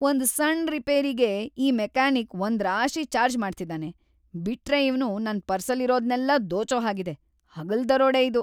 ಒಂದ್ ಸಣ್ಣ್ ರಿಪೇರಿಗೆ ಈ ಮೆಕ್ಯಾನಿಕ್‌ ಒಂದ್ರಾಶಿ ಚಾರ್ಜ್‌ ಮಾಡ್ತಿದಾನೆ. ಬಿಟ್ರೆ ಇವ್ನು ನನ್‌ ಪರ್ಸಲ್ಲಿರೋದ್ನೆಲ್ಲ ದೋಚೋ ಹಾಗಿದೆ. ಹಗಲ್‌ ದರೋಡೆ ಇದು!